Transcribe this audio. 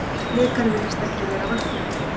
Blikar virðast ekki vera vaknaðir.